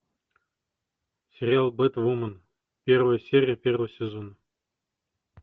сериал бэтвумен первая серия первый сезон